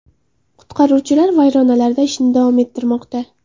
Qutqaruvchilar vayronalarda ishni davom ettirmoqda.